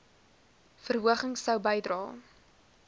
verhoging sou bydra